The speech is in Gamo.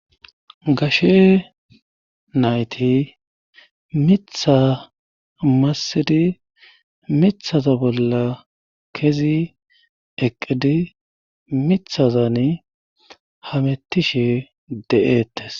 gashe nayti mitha massidi mithaza bolla kezi eqqidi mithazani hamettishe de7eettes